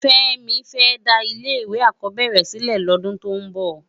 Femi fè dá ilé èkò ákòbèrè silè lòdún tó n bò